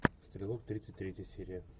стрелок тридцать третья серия